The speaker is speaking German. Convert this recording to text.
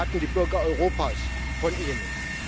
Das erwarten die Bürger Europas von Ihnen.